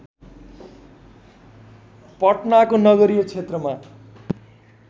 पटनाको नगरीय क्षेत्रमा